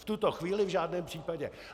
V tuto chvíli v žádném případě.